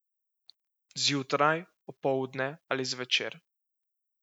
Zjutraj, opoldne ali zvečer.